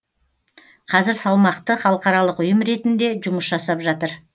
қазір салмақты халықаралық ұйым ретінде жұмыс жасап жатыр